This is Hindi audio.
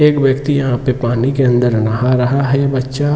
एक व्यक्ति यहां पानी केअन्दर यहां नाहा रहा हैबच्चा--